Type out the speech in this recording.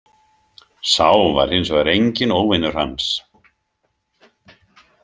Sá var hins vegar enginn óvinur hans.